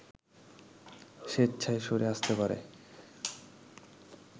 স্বেচ্ছায় সরে আসতে পারে